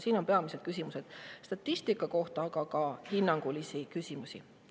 Siin on peamised küsimused statistika kohta, aga on ka hinnangut küsimusi.